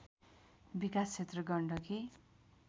विकास क्षेत्र गण्डकी